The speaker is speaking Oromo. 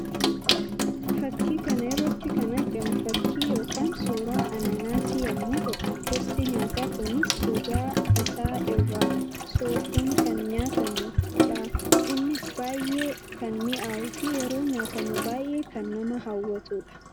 Fakkii kana irratti kan argamu fakkii yookiin suuraa anaanaasii yammuu ta'u; gosti nyaataa kunis gogaa isaa irraa soofuun kan nyaatamuu dha. Innis baayyee kan mi'awwuu fi yeroo nyaatamu baayyee kan nama hawwatuu dha.